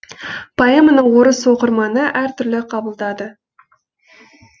поэманы орыс оқырманы әртүрлі қабылдады